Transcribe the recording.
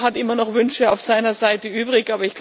Jeder hat immer noch Wünsche auf seiner Seite übrig.